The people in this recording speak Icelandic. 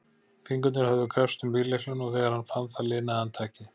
Fingurnir höfðu kreppst um bíllyklana og þegar hann fann það linaði hann takið.